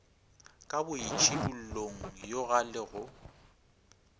ka boitšhidullong yoga le go